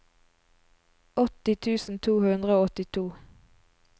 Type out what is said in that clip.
åtti tusen to hundre og åttito